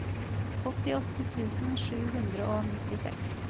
åttiåtte tusen sju hundre og nittiseks